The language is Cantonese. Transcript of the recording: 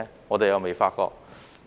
我們又未發覺。